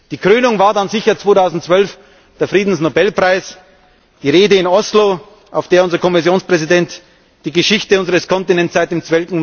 Die Krönung war dann sicher 2012 der Friedensnobelpreis, die Rede in Oslo, in der unser Kommissionspräsident die Geschichte unseres Kontinents seit dem